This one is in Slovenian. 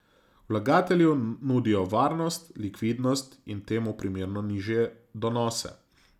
Vlagatelju nudijo varnost, likvidnost in temu primerno nižje donose.